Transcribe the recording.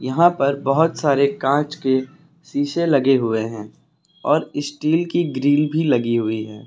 यहां पर बहोत सारे कांच के शीशे लगे हुए हैं और स्टील की ग्रिल भी लगी हुई है--